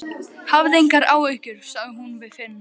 Hafðu engar áhyggjur, sagði hún við Finn.